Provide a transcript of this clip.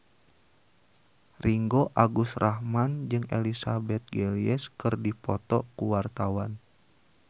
Ringgo Agus Rahman jeung Elizabeth Gillies keur dipoto ku wartawan